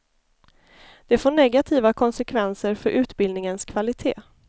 Det får negativa konsekvenser för utbildningens kvalitet.